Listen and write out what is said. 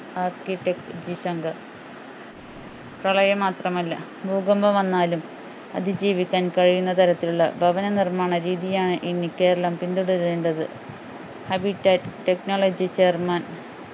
architect G Shankar പ്രളയം മാത്രമല്ല ഭൂകമ്പം വന്നാലും അതിജീവിക്കാൻ കഴിയുന്ന തരത്തിലുള്ള ഭവന നിർമാണ രീതിയാണ് ഇനി കേരളം പിന്തുടരേണ്ടത് technology chairman